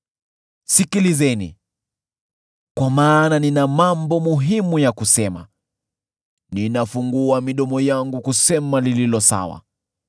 Sikilizeni, kwa maana nina mambo muhimu ya kusema; ninafungua midomo yangu kusema lililo sawa.